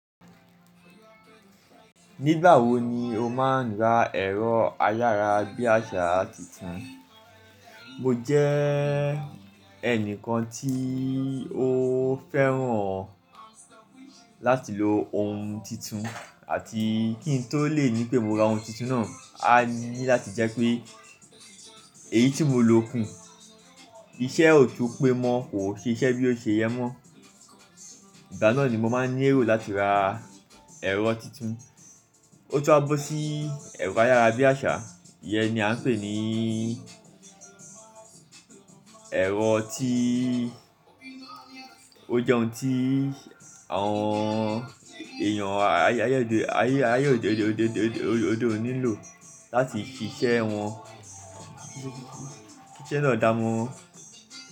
Nígbà wo ni o máa ń ra ẹ̀rọ ayára bí àṣá tuntun? Mo jẹ́ ẹnìkan tí ó fẹ́ràn láti lo ohun tuntun àti kí n tó lè ní pé mo ra ohun tuntun náà, a ní láti jẹ́ pé èyí tí mo lò kùn, iṣẹ́ ò tún pé mọ́, kò ṣi iṣẹ́ bí ó ṣe yẹ mọ́. Ìgbà náà ni mo máa ń ní ẹ̀rọ láti ra ẹ̀rọ tuntun. Ó tún a bó sí ẹ̀rọ ayára bí àṣá, ìyẹn ni a ń pè ní ẹ̀rọ tí ó jẹ ohun tí àwọn èèyàn ayé òde òní ń lò láti fi ṣẹ wọn. Kí iṣẹ́ náà dáa mọ́ran.